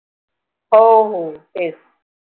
हो हो तेच.